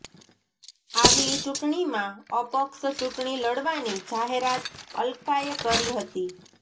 આગલી ચૂંટણીમાં અપક્ષ ચૂંટણી લડવાની જાહેરાત અલકાએ કરી હતી